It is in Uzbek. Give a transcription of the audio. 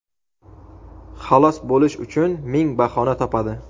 Xalos bo‘lish uchun ming bahona topadi.